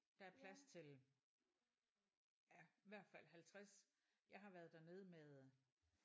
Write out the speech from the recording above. Der er plads til ja i hvert fald 50 jeg har været dernede med